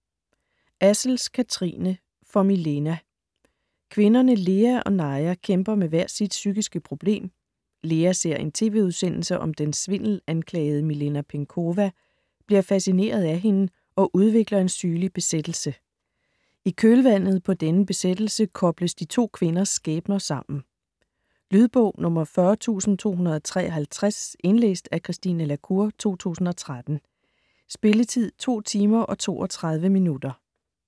Assels, Kathrine: For Milena Kvinderne Lea og Naja kæmper med hver sit psykiske problem. Lea ser en tv-udsendelse om den svindelanklagede Milena Penkowa, bliver fascineret af hende og udvikler en sygelig besættelse. I kølvandet på denne besættelse kobles de to kvinders skæbner sammen. Lydbog 40253 Indlæst af Christine La Cour, 2013. Spilletid: 2 timer, 32 minutter.